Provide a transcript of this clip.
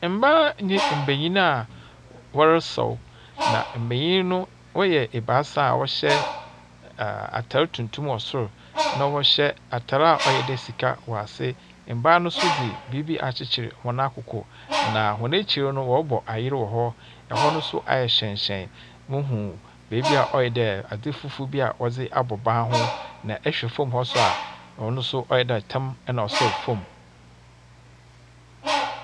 Mmaa ne mbenyin a wɔresaw, na mbenyin no wɔyɛ ebaasa a wɔhyɛ atar tuntum wɔ sor, na wɔhyɛ atar a ɔyɛ dɛ sika wɔ ase. Mbaa no nso dze biribi akyekyer hɔn akoko, na hɔn ekyir no wɔrebɔ ayer wɔ hɔ. Ɛhɔ no nso ayɛ hyerɛnhyerɛn. Muhu beebi a ɔyɛ dɛ adze fufuw bi a wɔdze abɔ ban ho. na ɛhwɛ fam hɔ nso a ɔyɛ dɛ tam na ɔsɛw fam.